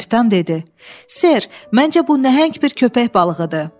Kapitan dedi: “Ser, məncə bu nəhəng bir köpək balığıdır.”